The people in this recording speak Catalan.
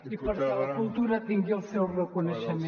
i perquè la cultura tingui el seu reconeixement